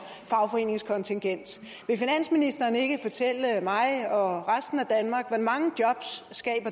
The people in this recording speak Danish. fagforeningskontingent vil finansministeren ikke fortælle mig og resten af danmark hvor mange jobs